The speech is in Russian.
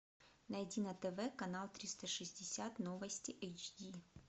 найди на тв канал триста шестьдесят новости эйч ди